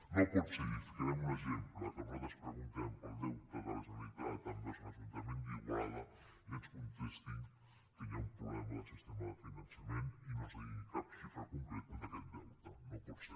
no pot ser i en ficarem un exemple que nosaltres preguntem pel deute de la generalitat envers l’ajuntament d’igualada i ens contestin que hi ha un problema del sistema de finançament i no ens diguin cap xifra concreta d’aquest deute no pot ser